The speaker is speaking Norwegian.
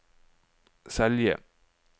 Selje